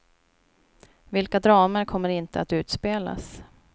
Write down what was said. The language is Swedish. Vilka dramer kommer inte att utspelas.